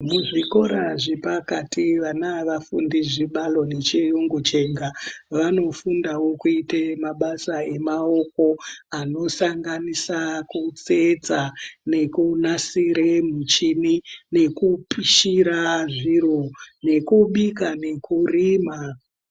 Zvikoro zvepakati vana avafundi zvibalo nechiyungu chega vanofundawo kuite mabasa emaoko anosanganisira kutsetsa, nekunasire muchini, nekupishira zviro, nekubika nekurima.